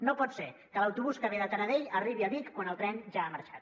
no pot ser que l’autobús que ve de taradell arribi a vic quan el tren ja ha marxat